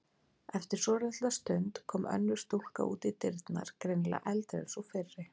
Eftir svolitla stund kom önnur stúlka út í dyrnar, greinilega eldri en sú fyrri.